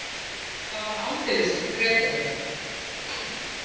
Það var aldeilis þrekraun.